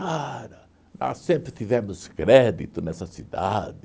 Nós sempre tivemos crédito nessa cidade.